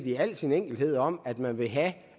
i al sin enkelhed om at man vil have